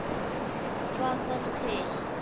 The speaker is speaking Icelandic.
Hvað þarf til?